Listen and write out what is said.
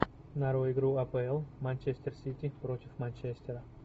нарой игру апл манчестер сити против манчестера